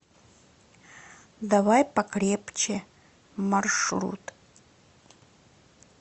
давай покрепче маршрут